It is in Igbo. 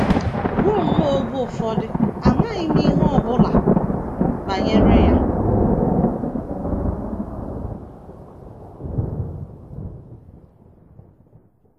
Ruo nnọọ oge ụfọdụ, amaghị m ihe ọ bụla banyere ya.